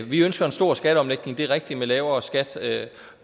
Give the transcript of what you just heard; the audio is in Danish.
vi ønsker en stor skatteomlægning det er rigtigt med lavere skat